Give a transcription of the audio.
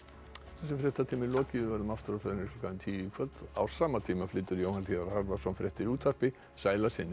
þessum fréttatíma er lokið við verður aftur á ferðinni klukkan tíu í kvöld á sama tíma flytur Jóhann hlíðar Harðarson fréttir í útvarpi sæl að sinni